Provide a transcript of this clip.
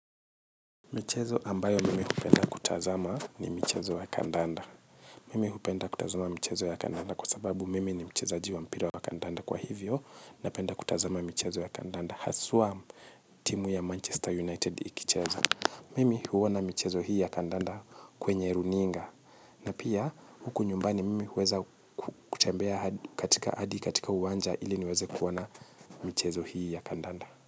Michezo ambayo mimi hupenda kutazama ni michezo ya kandanda. Mimi hupenda kutazama michezo ya kandanda kwa sababu mimi ni mchezaji wa mpira wa kandanda kwa hivyo na penda kutazama michezo ya kandanda haswa timu ya manchester united ikicheza. Mimi huona michezo hii ya kandanda kwenye runinga na pia huku nyumbani mimi huweza kutembea katika hadi katika uwanja ili niweze kuona michezo hii ya kandanda.